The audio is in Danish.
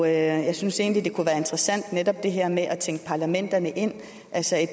jeg synes egentlig det kunne være interessant netop det her med at tænke parlamenterne ind altså at